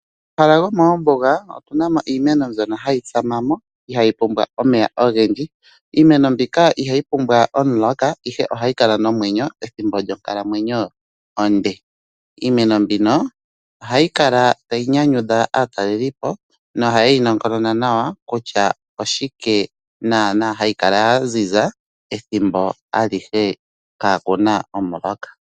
Momahala gomoombuga otunamo iimeno mbyono ihayi tsamamo hayi pumbwa omeya ogendji. Iimeno mbika ihayi pumbwa omuloka ihe ohayi kala momwwnyo ethimbo lyonkalamwenyo onde. iimeno mbino ohayi kala tayi nyanyukwa dha aatalelipo no hayeyi nongonona nawa kutya oshike naana hayi kala yaziza ethimbo alihe kakuna omuloka.